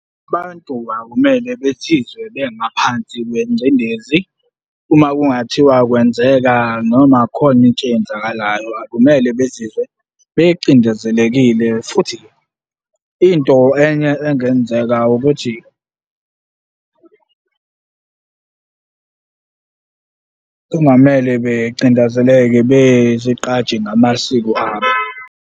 Abantu akumele bezizwe bengaphansi kwengcindezi. Uma kungathiwa kwenzeka noma khona into eyenzakalayo akumele bezizwe becindezelekile futhi into enye engenzeka ukuthi kungamele becindezeleke bezigqaje ngamasiko abo.